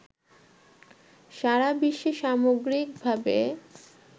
সারাবিশ্বে সামগ্রিকভাবে